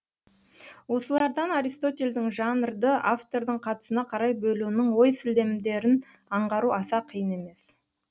осылардан аристотельдің жанрды автордың қатысына қарай бөлуінің ой сілемдерін аңғару аса қиын емес